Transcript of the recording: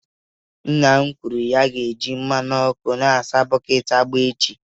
Nna m kwuru na m ga-eji mmanụ ọkụ na-asa bọket agba echi.